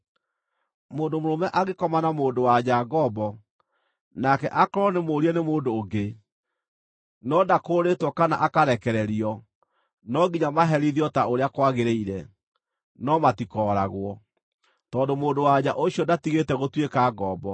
“ ‘Mũndũ mũrũme angĩkoma na mũndũ-wa-nja ngombo, nake aakorwo nĩmũũrie nĩ mũndũ ũngĩ, no ndakũũrĩtwo kana akarekererio, no nginya maherithio ta ũrĩa kwagĩrĩire. No matikooragwo, tondũ mũndũ-wa-nja ũcio ndatigĩte gũtuĩka ngombo.